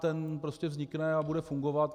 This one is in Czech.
Ten prostě vznikne a bude fungovat.